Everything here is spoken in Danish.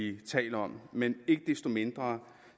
er tale om men ikke desto mindre